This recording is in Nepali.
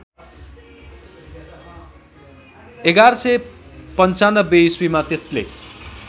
११९५ ईश्वीमा त्यसले